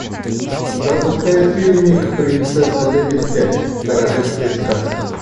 запускай фильмик принцесса лебедь пять королевская сказка